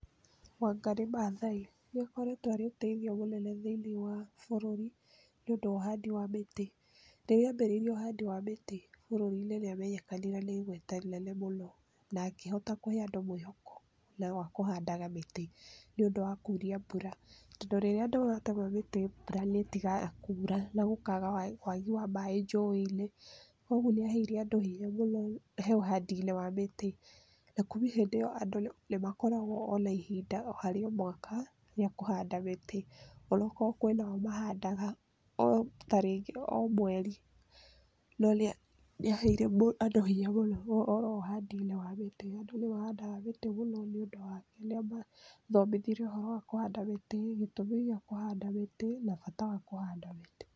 Wangarĩ Maathai. Nĩakoretwo arĩ ũteithio mũnene thĩiniĩ wa bũrũri nĩũndũ wa ũhandi wa mĩtĩ. Rĩrĩa ambĩrĩirie uhandi wa mĩtĩ bũrũri-inĩ nĩ amenyekanire na igweta rĩnene mũno na akĩhota kũhe andũ mwĩhoko wa kũhandaga mĩtĩ nĩũndũ wa kuuria mbura tondũ rĩrĩa andũ matema mĩtĩ mbura nĩ ĩtigaga kuura na gũkagĩa waagi wa maaĩ njũĩ-inĩ, ũguo nĩaheire andũ hinya mũno he ũhandinĩ wa mĩtĩ na kuumia hĩndĩ ĩyo andũ nĩmakoragwo na ihinda harĩ o mwaka rĩa kũhanda mĩtĩ ona akorwo kũrĩ nao mahandaga tarĩngĩ o mweri no nĩ aaheire andũ hinya mũno ũhoro wa ũhandinĩ wa mĩtĩ. Andũ nĩmahandaga mĩtĩ mũno nĩũndũ wake. Nĩamathomithirie ũhoro wa kũhanda mĩtĩ, gĩtũmi gĩa kũhanda mĩtĩ na bata wa kũhanda mĩtĩ.